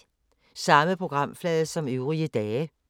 Samme programflade som øvrige dage